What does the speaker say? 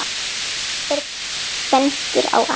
Hver bendir á annan.